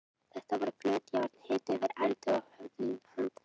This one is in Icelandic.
Þetta voru flöt járn, hituð yfir eldi og höfðu handfang.